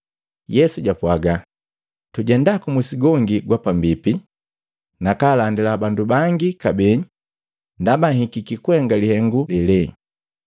Yesu japwaaga, “Tujenda kumusi gongi gwapambipi, nakalandila bandu bangi kabee ndaba nhikiki kuhenga lihengu lele.”